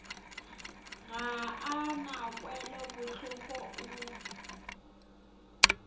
ga a na kwelobohloko o